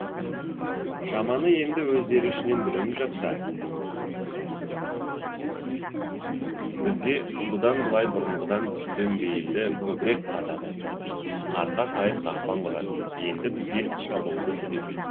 жаманы енді өздері ішінен бүлініп жатса бізге бұдан былай бұрынғыдан дөмбейілді көбірек қазады қырқа сайын қақпан құрады енді бізге шабуылды үдетеді